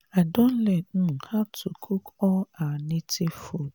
i don learn um how to cook all our native food